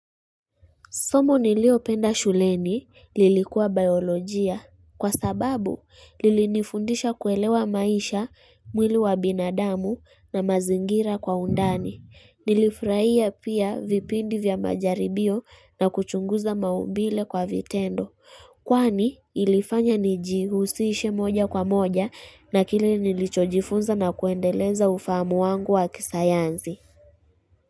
Somo niliopenda shuleni lilikuwa biolojia kwa sababu lilinifundisha kuelewa maisha mwili wa binadamu na mazingira kwa undani. Nilifurahia pia vipindi vya majaribio na kuchunguza maumbile kwa vitendo. Kwani ilifanya nijihusishe moja kwa moja na kile nilichojifunza na kuendeleza ufahamu wangu wa kisayansi.